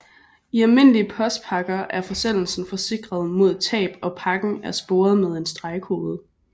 I almindelige postpakker er forsendelsen forsikret mod tab og pakken er sporet med en stregkode